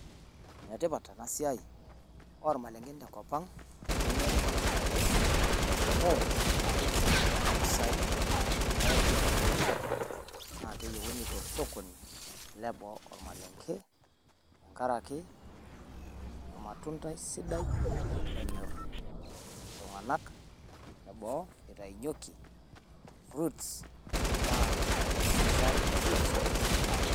Netipaat ena siaii o maleng'en te nkopang eunore o maleng'ee amu aikinchoo mpisai nekinchoo mbuuka. Naa keiyeuni to sokoni nepoo o maleng'ee teng'arake omatundai sidai onyorr iltung'anak neboo eitanyeeki fruits tenaa noshii aree o fruits o kulee ntokitin kumook.